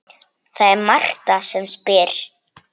Það er Marta sem spyr.